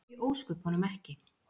Af hverju í ósköpunum ekki?